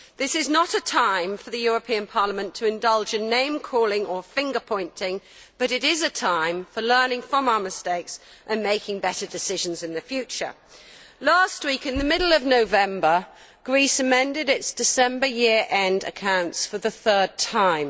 This is not a time for the European Parliament to indulge in name calling or finger pointing, but it is a time for learning from our mistakes and making better decisions in the future. Last week, in the middle of November, Greece amended its December year end accounts for the third time.